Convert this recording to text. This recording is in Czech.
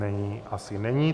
Není, asi není.